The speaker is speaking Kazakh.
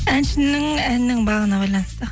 әншінің әнінің бағына байланысты